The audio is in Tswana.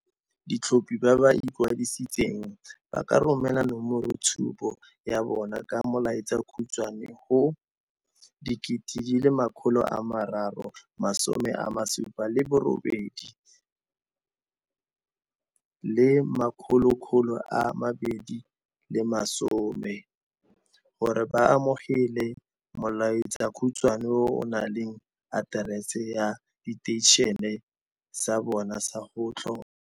Batlhophi ba ba ikwadisitseng ba ka romela nomoroitshupo ya bona ka molaetsakhutswe go 32810 gore ba amogele molaetsakhutswe o o na leng aterese ya seteišene sa bona sa go tlhopha.